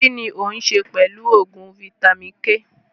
Kínní òun ṣe pẹlu oògùn vitamin-k